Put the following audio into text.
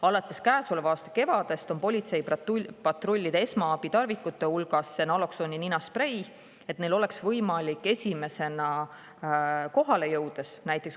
Alates käesoleva aasta kevadest on politseipatrullide esmaabitarvikute hulgas naloksooni ninasprei, et neil oleks võimalik esimesena kohale jõudes seda kasutada.